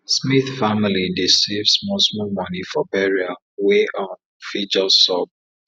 smith family dey save small small moni for burial wey um fit just sup